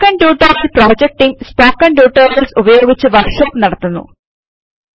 spoken tutorial project team spoken tutorials ഉപയോഗിച്ച് workshops നടത്തുന്നു